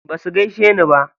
Basu gaishe ni ba.